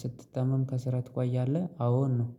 ስትታመም ከስራ ትቋያለህ አዎን ነው